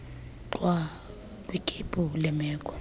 gxwa kwikhephu leemeko